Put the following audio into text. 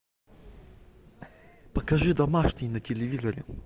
покажи домашний на телевизоре